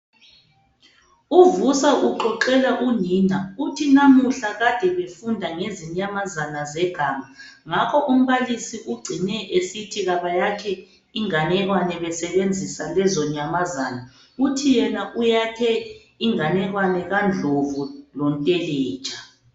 UVusa uxoxela unina, uthi namuhla kade befunda ngezinyamazana zeganga. Ngakho umbalisi ucine esithi kabayakhe inganekwane besebenzisa lezonyamazana. Uthi yena uyakhe inganekwane kandlovu lonteletsha.